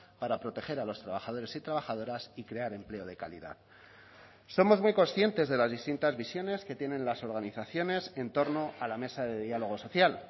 para proteger a los trabajadores y trabajadoras y crear empleo de calidad somos muy conscientes de las distintas visiones que tienen las organizaciones entorno a la mesa de diálogo social